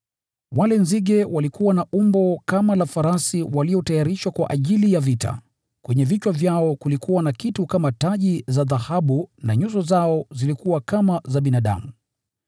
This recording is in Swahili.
Wale nzige walikuwa na umbo kama la farasi waliotayarishwa kwa ajili ya vita. Kwenye vichwa vyao kulikuwa na kitu kama taji za dhahabu na nyuso zao zilikuwa kama za binadamu.